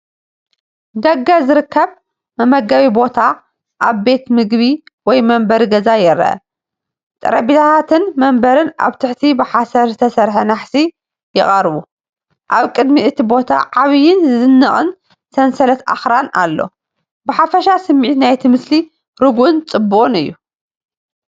ደገ ዝርከብ መመገቢ ቦታ ኣብ ቤት ምግቢ ወይ መንበሪ ገዛ ይርአ። ጠረጴዛታትን መንበርን ኣብ ትሕቲ ብሓሰር ዝተሰርሐ ናሕሲ ይቐርቡ። ኣብ ቅድሚ እቲ ቦታ ዓብይን ዝድነቕን ሰንሰለት ኣኽራን ኣሎ። ብሓፈሻ ስሚዒት ናይቲ ምስሊ ርጉእን ጽቡቕን እዩ።